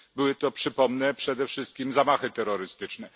Były to, przypomnę, przede wszystkim zamachy terrorystyczne.